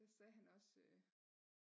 Der sagde han også øh